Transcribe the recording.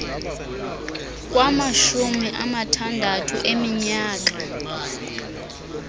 kwamashumi amathandathu eminyaka